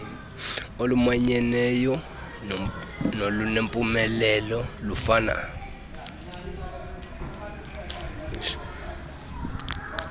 olumanyeneyo nolunempumelelo lufuna